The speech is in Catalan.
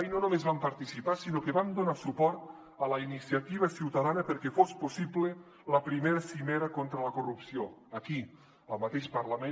i no només vam participar sinó que vam donar suport a la iniciativa ciutadana perquè fos possible la i cimera contra la corrupció aquí al mateix parlament